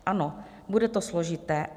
Ano, bude to složité.